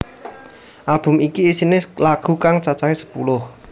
Album iki isiné lagu kang cacahé sepuluh